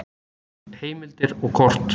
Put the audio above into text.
Heimildir og kort: